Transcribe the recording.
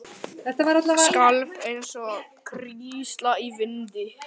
Skalf eins og hrísla í vindi.